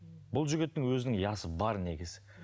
бұл жігіттің өзінің я сы бар негізі